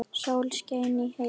Sól skein í heiði.